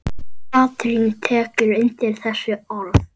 Katrín tekur undir þessi orð.